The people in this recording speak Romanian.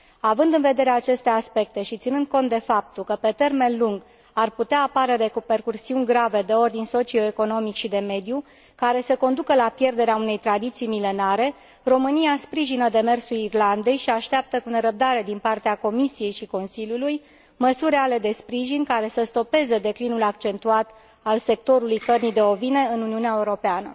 Având în vedere aceste aspecte și ținând cont de faptul că, pe termen lung, ar putea apărea repercusiuni grave de ordin socio economic și de mediu, care să conducă la pierderea unei tradiții milenare, România sprijină demersul Irlandei și așteaptă cu nerăbdare, din partea Comisiei și Consiliului, măsuri reale de sprijin, care să stopeze declinul accentuat al sectorului cărnii de ovine în Uniunea Europeană.